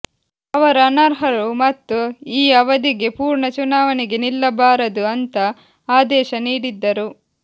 ಅವರು ಅನರ್ಹರು ಮತ್ತು ಈ ಅವಧಿಗೆ ಪೂರ್ಣ ಚುನಾವಣೆಗೆ ನಿಲ್ಲಬಾರದು ಅಂತ ಆದೇಶ ನೀಡಿದ್ದರು